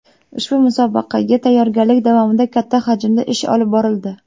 Ushbu musobaqaga tayyorgarlik davomida katta hajmda ish olib borildi.